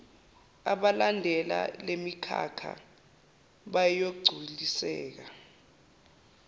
abalandela lemikhakha bayogculiseka